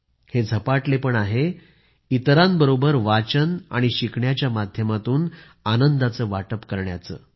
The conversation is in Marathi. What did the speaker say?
हे झपाटलेपण आहे दुसऱ्यांबरोबर वाचन आणि शिकून आनंदाचं वाटप करण्याचं